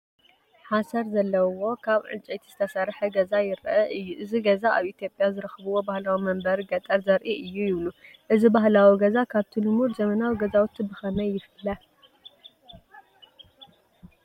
ሓሰር ዘለዎ ዓቢ ካብ ዕንጨይቲ ዝተሰርሐ ገዛ ይርአ። ዩ። እዚ ገዛ ኣብ ኢትዮጵያ ዝረኽብዎ ባህላዊ መንበሪ ገጠር ዘርኢ እዩ ይብሉ። እዚ ባህላዊ ገዛ ካብቲ ልሙድ ዘመናዊ ገዛውቲ ብኸመይ ይፍለ?